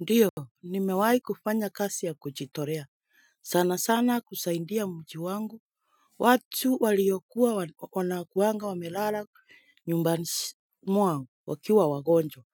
Ndiyo, nimewahi kufanya kazi ya kujitolea, sanasana kusaidia mji wangu. Watu waliokuwa wanakuanga wamelala nyumbani mwao wakiwa wagonjwa.